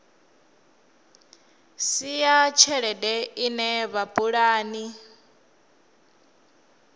si ya tshelede ine vhapulani